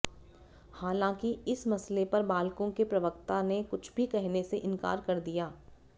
हालांकि इस मसले पर बाल्को के प्रवक्ता ने कुछ भी कहने से इनकार कर दिया